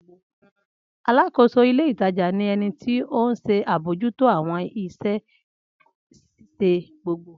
Alákóso ilé ìtajà ni ẹnití ohun se abojuto àwọn iṣẹ́ ṣíṣe gbogbo.